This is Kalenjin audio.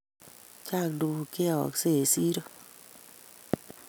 Chang tuguuk cheyoyeske eng siro